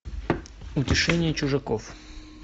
утешение чужаков